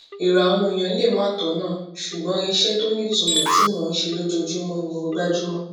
èrò àwọn èèyàn lè má tònà ṣùgbọn iṣé tó nítumò tí mò ń ṣe lójoojúmó ni mo gbájú mó